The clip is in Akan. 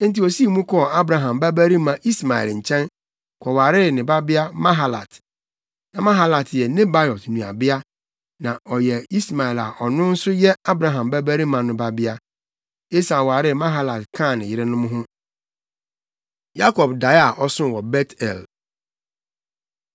Enti osii mu kɔɔ Abraham babarima Ismael nkyɛn, kɔwaree ne babea Mahalat. Na Mahalat yɛ Nebaiot nuabea, na ɔyɛ Ismael a ɔno nso yɛ Abraham babarima no babea. Esau waree Mahalat kaa ne yerenom ho. Yakob Dae A Ɔsoo Wɔ Bet-el